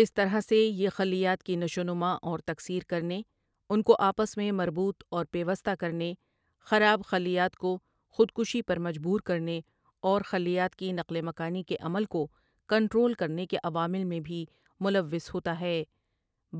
اس طرح سے یہ خلیات کی نشونما اور تکثیر کرنے، انکو آپس میں مربوط اور پیوستہ کرنے، خراب خلیات کو خود کشی پر مجبور کرنے اور خلیات کی نـقل مکانی کے عمل کو کـنـٹـرول کرنے کے عوامل میں بھی ملوث ہوتا ہے